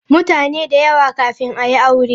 Mutane da yawa kafin a yi aure.